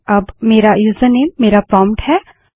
अब मेरा यूजरनेम मेरा प्रोंप्ट है